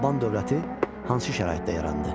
Alban dövləti hansı şəraitdə yarandı?